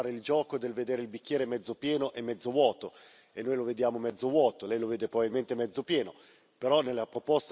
Noi possiamo sempre fare il gioco del vedere il bicchiere mezzo pieno o mezzo vuoto noi lo vediamo mezzo vuoto, Lei lo vede probabilmente mezzo pieno.